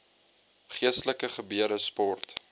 geestelike gebeure sport